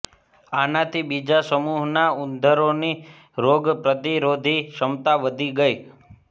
આનાથી બીજા સમુહના ઉંધરોની રોગ પ્રતિરોધી ક્ષમતા વધી ગઈ